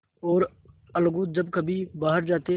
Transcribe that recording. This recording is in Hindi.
और अलगू जब कभी बाहर जाते